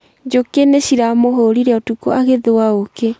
Njũkĩ nĩ ciramũhũrire ũtukũ agĩthũa ũũkĩ